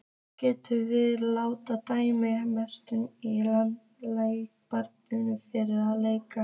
Getum við látið dæma Messi í leikbann fyrir að leika?